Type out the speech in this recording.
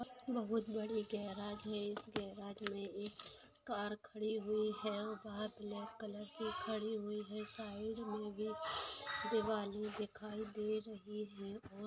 बहुत बड़ी गेराज है इस गेराज मे एक कार खड़ी हुई है। खड़ी हुई है। साइड मे भी दीवाले दिखाई दे रही है। बहुत--